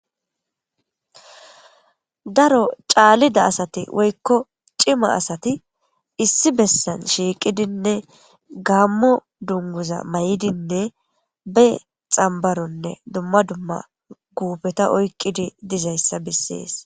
Daro caalida asati woykko cima asati issi bessan shiiqidinne gammo dunguza may7idinne be xambaronne dumma dumma guubeta oykqidi dizayssa bissees.